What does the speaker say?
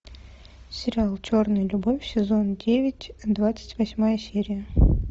сериал черная любовь сезон девять двадцать восьмая серия